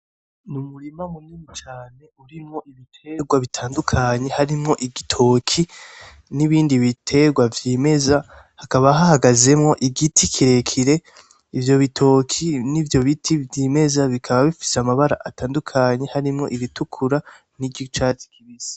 Ni umurima munini cane urimwo ibitegwa bitandukanye harimwo igitoke n'ibindi bitegwa vyimeza, hakaba hahagazemwo igiti kirekire. Ivyo bitoke n'ivyo biti vyimeza bikaba bifise amabara atandukanye harimwo ibitukura n'iry'icaci kibisi.